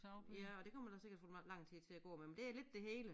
Ja og der kommer der sikkert lang tid til at gå med men det er lidt det hele